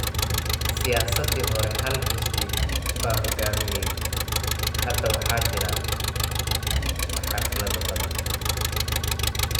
Siyaasadii hore hal xisbi baa hogaaminayey. Hadda waxaa jira xaflado badan.